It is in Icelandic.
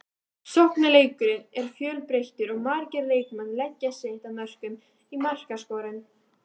Sóknarleikurinn er fjölbreyttur og margir leikmenn leggja sitt að mörkum í markaskorun.